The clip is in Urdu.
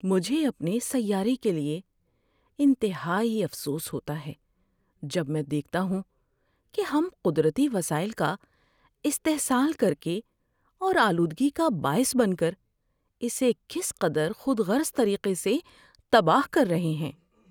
مجھے اپنے سیارے کے لیے انتہائی افسوس ہوتا ہے جب میں دیکھتا ہوں کہ ہم قدرتی وسائل کا استحصال کر کے اور آلودگی کا باعث بن کر اسے کس قدر خود غرض طریقے سے تباہ کر رہے ہیں۔